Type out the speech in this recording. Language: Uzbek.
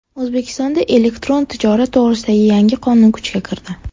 O‘zbekistonda elektron tijorat to‘g‘risidagi yangi qonun kuchga kirdi.